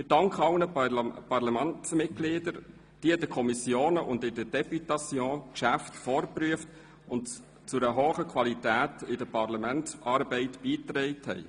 Ich danke allen Parlamentsmitgliedern, die in den Kommissionen und in der Députation Geschäfte vorgeprüft und zu einer hohen Qualität in der Parlamentsarbeit beigetragen haben.